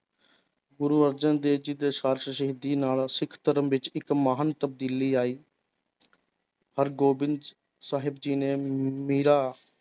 ਗੁਰੂ ਅਰਜਨ ਦੇਵ ਜੀ ਸ਼ਹੀਦੀ ਨਾਲ ਸਿੱਖ ਧਰਮ ਵਿੱਚ ਇੱਕ ਮਹਾਨ ਤਬਦੀਲੀ ਆਈ ਹਰਿਗੋਬਿੰਦ ਸਾਹਿਬ ਜੀ ਨੇ ਮੀਰਾ